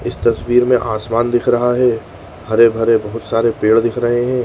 इस तस्वीर में आसमान दिख रहा है। हरे भरे बहुत सारे पेड़ दिख रहे हैं।